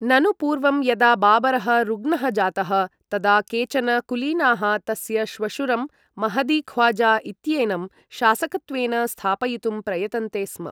ननु पूर्वं यदा बाबरः रुग्णः जातः, तदा केचन कुलीनाः तस्य श्वशुरं महदी ख्वाजा इत्येनं शासकत्वेन स्थापयितुं प्रयतन्ते स्म।